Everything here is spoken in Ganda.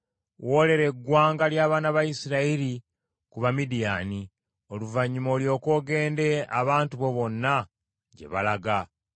“Woolera eggwanga ly’abaana ba Isirayiri ku Bamidiyaani, oluvannyuma olyoke ogende abantu bo bonna gye balaga.”